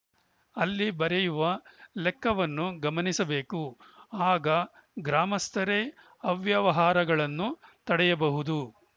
ಅಲ್ಲಿ ಬರೆಯುವ ಲೆಕ್ಕವನ್ನು ಗಮನಿಸಬೇಕು ಆಗ ಗ್ರಾಮಸ್ಥರೇ ಅವ್ಯವಹಾರಗಳನ್ನು ತಡೆಯಬಹುದು